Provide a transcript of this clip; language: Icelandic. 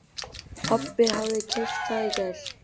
Pabbi hafði keypt það í gær.